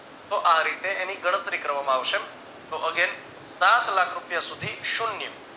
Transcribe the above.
તો આ રીતે એની ગણતરી કરવામાં આવશે તો agein સાતલાખ રૂપિયા સુધી શૂન્ય